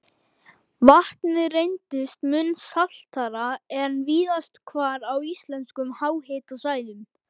Vatnið reyndist mun saltara en víðast hvar á íslenskum háhitasvæðum.